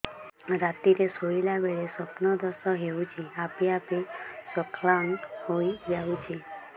ରାତିରେ ଶୋଇଲା ବେଳେ ସ୍ବପ୍ନ ଦୋଷ ହେଉଛି ଆପେ ଆପେ ସ୍ଖଳନ ହେଇଯାଉଛି